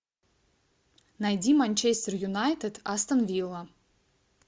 найди манчестер юнайтед астон вилла